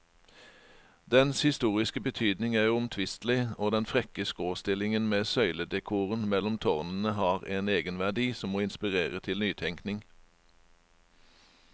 Dens historiske betydning er uomtvistelig, og den frekke skråstillingen med søyledekoren mellom tårnene har en egenverdi som må inspirere til nytenkning.